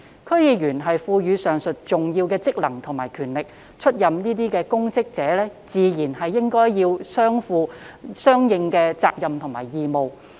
區議員獲賦予上述重要職能和權力，出任公職者理應負上相應的責任和義務。